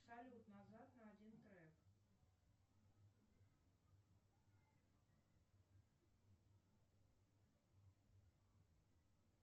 салют назад на один трек